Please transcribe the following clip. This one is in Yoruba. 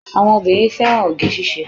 Àwọn obìnrin fẹ́ràn oge síse